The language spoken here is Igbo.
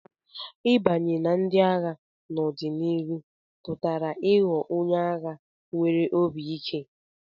Ịbanye na ndị agha n'ọdịnihu pụtara ịghọ onye agha nwere obi ike.